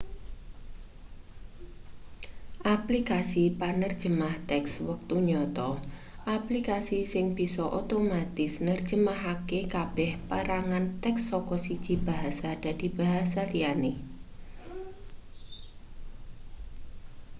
aplikasi penerjemah teks wektu nyata aplikasi sing bisa otomatis nerjemahake kabeh perangan teks saka siji bahasa dadi basa liyane